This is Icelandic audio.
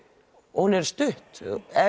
hún er stutt